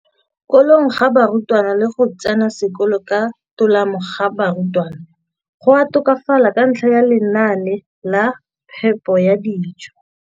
kolong ga barutwana le go tsena sekolo ka tolamo ga barutwana go a tokafala ka ntlha ya lenaane la phepo ya dijo.